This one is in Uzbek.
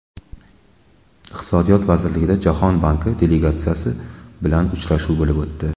Iqtisodiyot vazirligida Jahon banki delegatsiyasi bilan uchrashuv bo‘lib o‘tdi.